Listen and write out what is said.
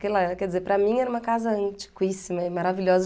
que ela é, quer dizer, para mim era uma casa antiquíssima é maravilhosa.